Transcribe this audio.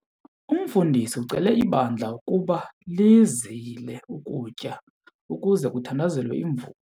Umfundisi ucele ibandla ukuba lizile ukutya ukuze kuthandazelwe imvula.